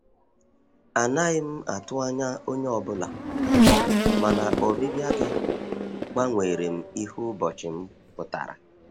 Anaghị m atụ anya onye ọ bụla, mana ọbịbịa gị gbanwerem ihe ụbọchị m pụtara.